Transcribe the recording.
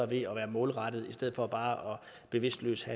ved at være målrettede i stedet for bare bevidstløst